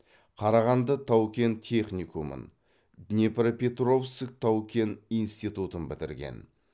қарағанды тау кен техникумын днепропетровск тау кен институтын бітірген